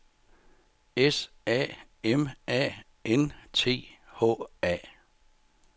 S A M A N T H A